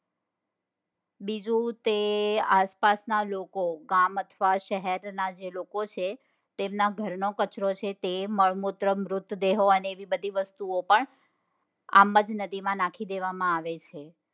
બીજું કે આસપાસના લોકો, ગામ અથવા શહેરના જે લોકો છે તેમના ઘરનો કચરો છે તે મળમૂતરો મૃતદેહો અને બીજી બધી વસ્તુઓ પણ આમજ નદી માં નાખી દેવા માં આવે છે